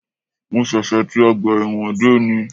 Mo ṣẹ̀ṣẹ̀ ti ọgbà ẹ̀wọ̀n dé ní